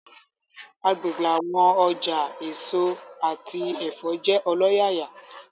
Agbegbe awọn ọja eso ati ẹfọ jẹ ọlọyaya